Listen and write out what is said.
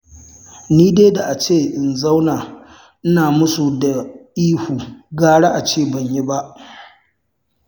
Ni dai da in zauna ina musu da ihu gara a ce ban yi ba.